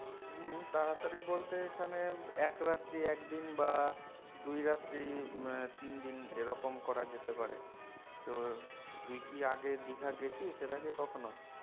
হম তাড়াতাড়ি বলতে এখানে এক রাত্রি এক দিন বা দুই রাত্রি তিন দিন এরকম করা যেতে পারে তো তুই কি আগে দীঘা গেছিস এর আগে কখনো?